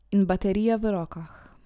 In baterija v rokah.